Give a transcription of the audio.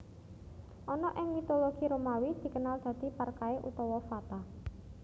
Ana ing mitologi Romawi dikenal dadi Parkae utawa Fata